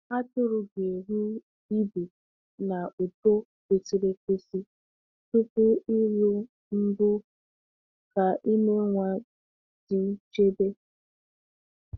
Atụrụ ga-eru ibu na uto kwesịrị ekwesị tupu ịlụ mbụ ka ime nwa dị nchebe.